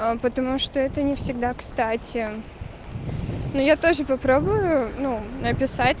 а потому что это не всегда кстати но я тоже попробую ну написать